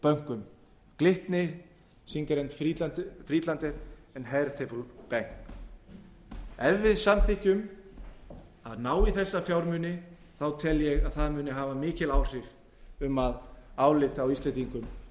bönkum glitni singer og friedlander bank ef við samþykkjum að ná í þessa fjármuni tel ég að það muni hafa mikil áhrif á að álit á íslendingum